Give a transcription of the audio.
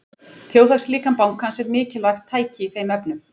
Þjóðhagslíkan bankans er mikilvægt tæki í þeim efnum.